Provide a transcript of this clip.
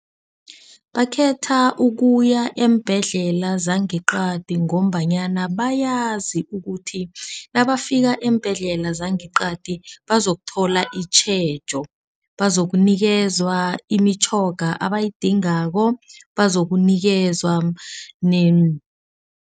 Bakhetha ukuya eembhedlela zangeqadi ngombanyana bayazi ukuthi nabafika eembhedlela zangeqadi bazokuthola itjhejo. Bazokunikezwa imitjhoga abayidingako ebazokunikezwa